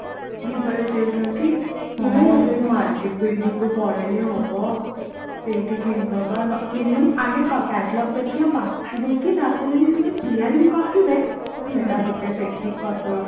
biba ରେ sell ଚାଲିଛି ହଁ ସେଇ market building ରୁ ପଳେଇଲେ ହବ ସେଇଠି କିଣିଦବା କିଣିବାଣି ଆଗ Catalogue ଦେଖିବା ବାଛି ଦେଇକି ତାପରେ ଯଦି ସେମାନେ ତିଆରି ବି କରିଥିବେ ସେଇଟା ଗୋଟେଦେଖିକି କରୀଦବା